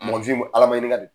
Mɔgɔninfin Ala maɲininka do.